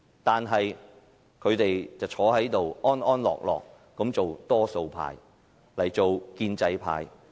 但是，他們安坐這裏做多數派，做建制派。